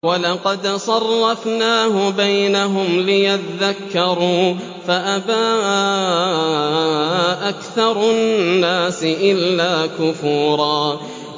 وَلَقَدْ صَرَّفْنَاهُ بَيْنَهُمْ لِيَذَّكَّرُوا فَأَبَىٰ أَكْثَرُ النَّاسِ إِلَّا كُفُورًا